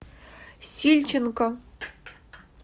сильченко